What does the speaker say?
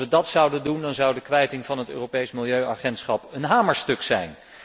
Als wij dat zouden doen, dan zou de kwijting van het Europees Milieuagentschap een hamerstuk zijn.